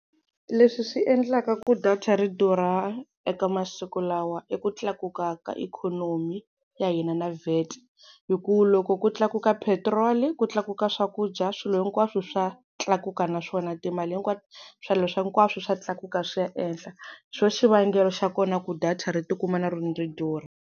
Leswi swi endlaka ku data ri durha eka masiku lawa i ku tlakuka ka ikhonomi ya hina na VAT, hi ku loko ku tlakuka petiroli ku tlakuka swakudya swilo hinkwaswo swa tlakuka na swona, timali hinkwato swilo swa hinkwaswo swa tlakuka swi ya ehenhla. Hi swo xivangelo xa kona ku data ri tikuma na rona ri durha.